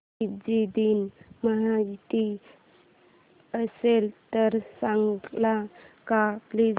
Fiji दिन माहीत असेल तर सांगाल का प्लीज